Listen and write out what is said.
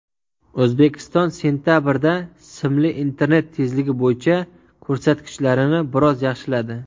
O‘zbekiston sentabrda simli internet tezligi bo‘yicha ko‘rsatkichlarini biroz yaxshiladi.